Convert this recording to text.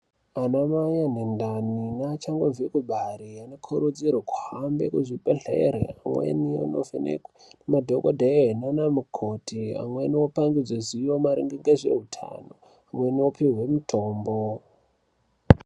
Anamai ane ndani neachangobve kubare , anokurudzirwa kuhambe kuzvibhedhlere einovhenekwe nadhokodhee naanamikoti, amweni opangidzwe zivo maringe ngezveutano, amweni opihwe mitombo.